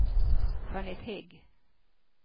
Jeanette Hägg